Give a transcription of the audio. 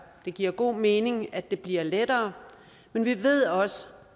det giver god mening at det bliver lettere men vi ved også